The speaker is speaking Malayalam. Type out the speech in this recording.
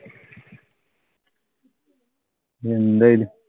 എന്തായി?